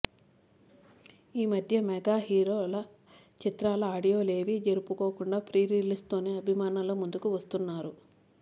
ఈ మధ్య మెగా హీరోల చిత్రాల ఆడియో లేవి జరుపుకోకుండా ప్రీ రిలీజ్ తోనే అభిమానుల ముందుకు వస్తున్నారు